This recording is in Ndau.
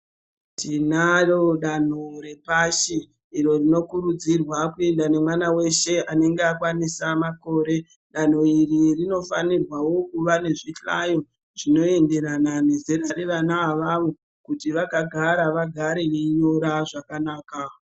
Tinarondanho repashi iro rinokurudzirwa kuendwa nemwana weshe anenga akwanise makore danho iri rinofanirwa kuva nezvihlayo zvinoenderana nezera revana avavo kuti vakagara vagare veinyora zvakanaka.